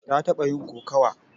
Ta taɓa yin kokawa.